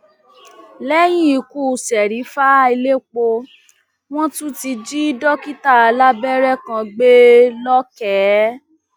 lẹyìn ikú serifa elépo wọn tún ti jí dókítà alábẹrẹ kan gbé lọkẹ